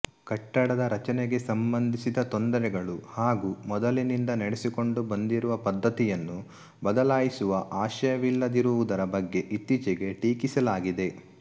ಕಟ್ಟಡದ ರಚನೆಗೆ ಸಂಬಂಧಿಸಿದ ತೊಂದರೆಗಳು ಹಾಗು ಮೊದಲಿನಿಂದ ನಡೆಸಿಕೊಂಡು ಬಂದಿರುವ ಪದ್ದತಿಯನ್ನು ಬದಲಾಯಿಸುವ ಆಶಯವಿಲ್ಲದಿರುವುದರ ಬಗ್ಗೆ ಇತ್ತೀಚೆಗೆ ಟೀಕಿಸಲಾಗಿದೆ